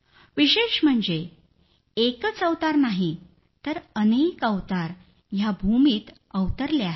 विशेष म्हणजे एकच अवतार नाही तर अनेक अवतार या भूमीत अवतरले आहेत